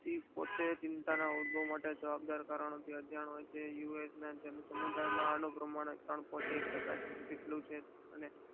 તે પોતે ચિંતા ના હોદા માટે માટે જવાબ દર કારણો થી અજાણ હોય છે યુ. એસ ના જળસમૂદાયનું પ્રમાણ ત્રણ પોઇન્ટ એક ટકા જેટલું છે.